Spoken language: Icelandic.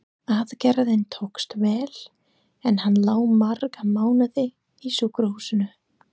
Aðgerðin tókst vel, en hann lá marga mánuði á sjúkrahúsinu.